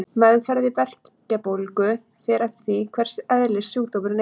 Meðferð við berkjubólgu fer eftir því hvers eðlis sjúkdómurinn er.